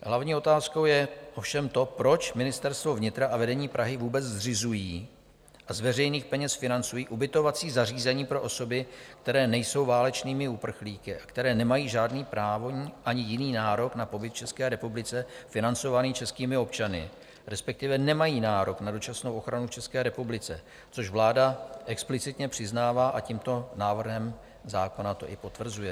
Hlavní otázkou je ovšem to, proč Ministerstvo vnitra a vedení Prahy vůbec zřizují a z veřejných peněz financují ubytovací zařízení pro osoby, které nejsou válečnými uprchlíky a které nemají žádný právní ani jiný nárok na pobyt v České republice financovaný českými občany, respektive nemají nárok na dočasnou ochranu v České republice, což vláda explicitně přiznává a tímto návrhem zákona to i potvrzuje.